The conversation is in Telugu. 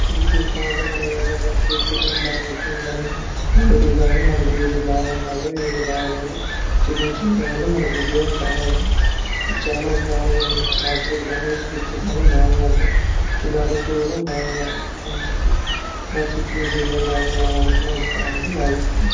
ఇది చూస్తా ఉంటే మనం ఏదైనా ఫ్రూట్స్ కానీ బా చెకింగ్ గాని క్వాలిటీ గాని మనకి ఏది బాగున్నదో ఏది బాగోలేదో చెకింగ్ చేయటం వాళ్ళ మనకి ఉపయోగం చాలా ఉంటుంది. ఇది చాలా బాగుంది. మార్కెట్ కానీ ఫ్రూట్స్ గాని చాలా బాగా ఉంటాయ్. ఇలాంటి చూడడం బాగా మంచిది. ఇలా చెకింగ్ . చేయడం బాగా మా వాళ్ళకి మంచితనమని భావిస్తున్నాను.